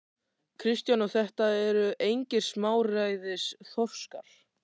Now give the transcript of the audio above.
Kristján: Og þetta eru engir smáræðis þorskar?